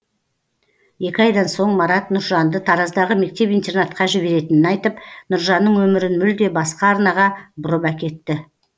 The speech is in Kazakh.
екі айдан соң марат нұржанды тараздағы мектеп интернатқа жіберетінін айтып нұржанның өмірін мүлде басқа арнаға бұрып әкетті